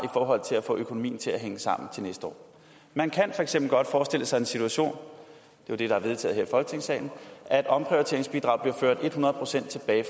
forhold til at få økonomien til at hænge sammen til næste år man kan for eksempel godt forestille sig den situation det er det der er vedtaget her i folketingssalen at omprioriteringsbidraget bliver ført et hundrede procent tilbage i